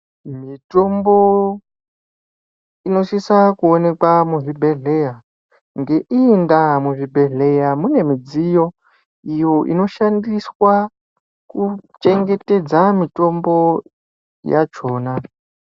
Mitombo inosisa kuonekwa muzvibhehlera ngeiyi ndaa muzvibhedhlera mune mudziyo iyo inosisa kuchengetedza mitombo yakona.